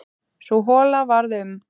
Sú hola varð um